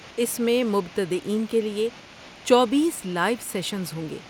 اس میں مبتدئین کے لیے چوبیس لائیو سیشنز ہوں گے